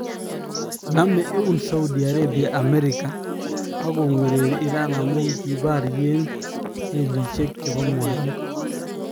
Namee eun Saudi Arabia Amerika ak kongwererii Iran amun kibaryeen meliisyeek chebo mwaniik